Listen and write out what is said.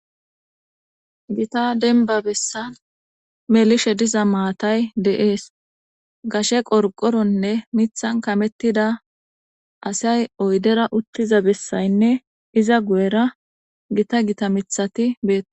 gita denba bessan melishe diza maatay de'ees gashe qorqoronne mithan kamettida asay oydera uttiza bessaynne iza guyera gita gita mithati beetes